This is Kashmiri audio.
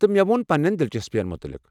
تہٕ، مےٚ وون پننٮ۪ن دِلچسپیَن متعلِق۔